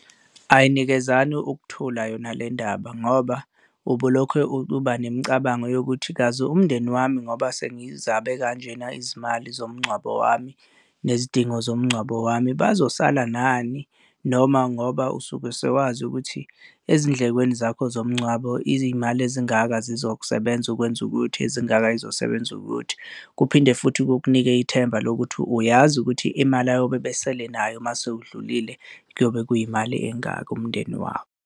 Ayinikezani ukuthula yona le ndaba ngoba ube ulokhe uba nemicabango yokuthi kazi umndeni wami ngoba sengizabe kanjena izimali zomngcwabo wami nezidingo zomngcwabo wami bazosala nani? Noma ngoba usuke sewazi ukuthi ezindlekweni zakho zomngcwabo izimali ezingaka zizosebenza ukwenza ukuthi, ezingaka zizosebenza ukuthi. Kuphinde futhi kukunike ithemba lokuthi uyazi ukuthi imali ayobe besele nayo uma sowudlulile kuyobe kuyimali engaka umndeni wami.